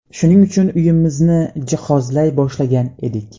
Shuning uchun uyimizni jihozlay boshlagan edik.